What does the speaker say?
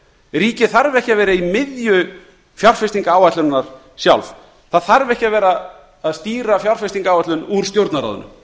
ríkið þarf ekki að vera í miðju fjárfestingaráætlunar sjálf það þarf ekki að stýra fjárfestingaráætlun úr stjórnarráðinu